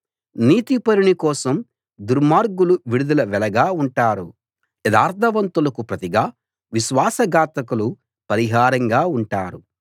నీతిపరుని కోసం దుర్మార్గులు విడుదల వెలగా ఉంటారు యథార్థవంతులకు ప్రతిగా విశ్వాస ఘాతకులు పరిహారంగా ఉంటారు